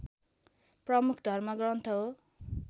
प्रमुख धर्मग्रन्थ हो